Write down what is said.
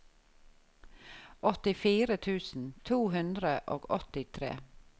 åttifire tusen to hundre og åttitre